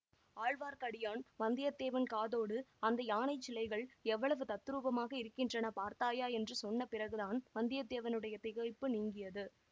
ஆழ்வார்க்கடியான் வந்தியத்தேவன் காதோடு அந்த யானைச் சிலைகள் எவ்வளவு தத்ரூபமாக இருக்கின்றன பார்த்தாயா என்று சொன்ன பிறகுதான் வந்தியத்தேவனுடைய திகைப்பு நீங்கியது